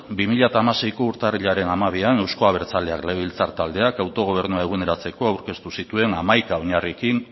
bi mila hamaseiko urtarrilaren hamabian euzko abertzaleak legebiltzar taldeak autogobernua eguneratzeko aurkeztu zituen hamaika oinarriekin